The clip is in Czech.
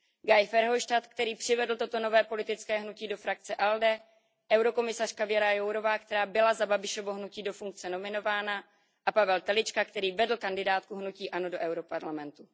Guy Verhofstadt, který přivedl toto nové politické hnutí do frakce ALDE, komisařka Věra Jourová, která byla za Babišovo hnutí do funkce nominována, a Pavel Telička, který vedl kandidátku hnutí ANO do Evropského parlamentu.